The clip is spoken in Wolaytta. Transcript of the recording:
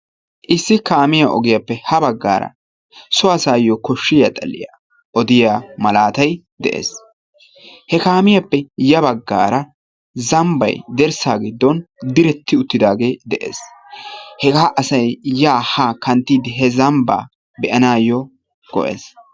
Issi kaamiyaa ogiyaappe ha baggara so asayyo koshshiya xaliya odiyaa malaatay de'ees. he kaamiyaappe ya baggaara zambban dirssa giddon diretti uttidaage de'ees. hega asay ya ha kanttiide he zambba be'anayyo go''ees.